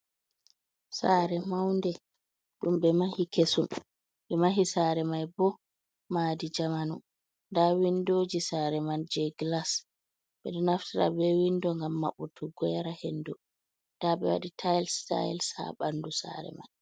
Sare maunde ɗum ɓe mahi kesum, ɓe mahi mai bo madi jamanu nda windoji sare man je glas, ɓeɗo naftira be windo ngam mabɓutugo yara hendo, nda ɓe waɗi tyles-tyles ha ɓandu sare mai.